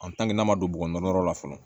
n'a ma don bɔgɔ yɔrɔ la fɔlɔ